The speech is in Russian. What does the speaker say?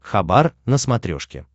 хабар на смотрешке